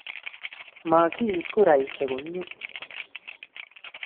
ma kiit kuraisiek komie.